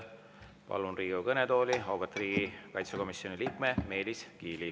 Palun Riigikogu kõnetooli auväärt riigikaitsekomisjoni liikme Meelis Kiili.